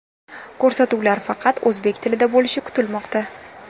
Ko‘rsatuvlar faqat o‘zbek tilida bo‘lishi kutilmoqda.